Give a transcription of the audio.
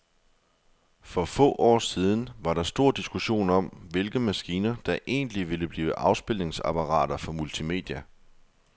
For få år siden var der stor diskussion om, hvilke maskiner, der egentlig ville blive afspilningsapparater for multimedia.